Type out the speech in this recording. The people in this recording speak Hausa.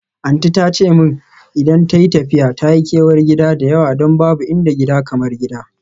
Aunty ta ce min idan tayi tafiya ta yi kewar gida da yawa don babu inda gida kamar gida.